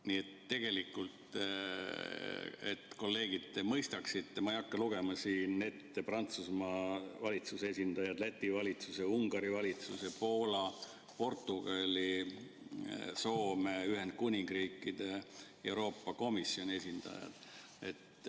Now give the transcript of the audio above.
Nii et tegelikult, et kolleegid mõistaksid, ma ei hakka lugema siin ette Prantsusmaa, Läti, Ungari, Poola, Portugali, Soome ja Ühendkuningriigi valitsuse ning Euroopa Komisjoni esindajaid.